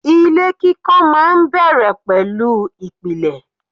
Ilé kíkọ́ máa ń bẹ̀rẹ̀ pẹ̀lú ìpìlẹ̀.